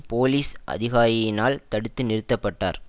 police அதிகாரியினால் தடுத்து நிறுத்த பட்டார்